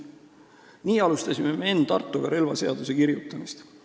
" Nii alustasime me Enn Tartoga relvaseaduse kirjutamist.